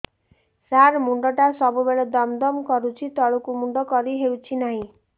ସାର ମୁଣ୍ଡ ଟା ସବୁ ବେଳେ ଦମ ଦମ କରୁଛି ତଳକୁ ମୁଣ୍ଡ କରି ହେଉଛି ନାହିଁ